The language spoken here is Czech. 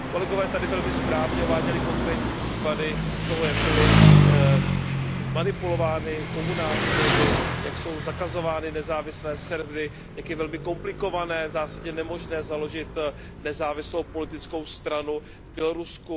Kolegové tady velmi správně uváděli konkrétní případy toho, jak byly zmanipulovány komunální volby, jak jsou zakazovány nezávislé servery, jak je velmi komplikované, v zásadě nemožné založit nezávislou politickou stranu v Bělorusku.